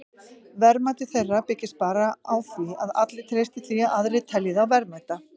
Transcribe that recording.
Verðmæti þeirra byggist bara á því að allir treysti því að aðrir telji þá verðmæta.